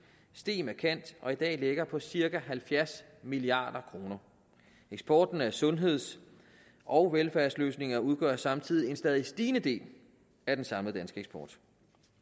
steg markant og i dag ligger på cirka halvfjerds milliard kroner eksporten af sundheds og velfærdsløsninger udgør samtidig en stadig stigende del af den samlede danske eksport